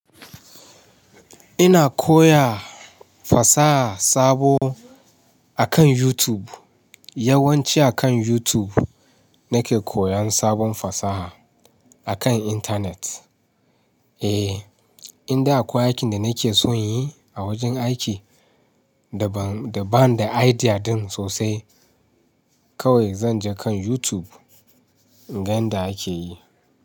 Ina koya fasaha sabo akan YouTube, yawanci akan YouTube nake koyan sabon fasaha akan intanet. Eh, in da akwai aikin da nake son inyi a wajen aiki da ban da idea din sosai kawai zan je kan YouTube in gan inda ake yi.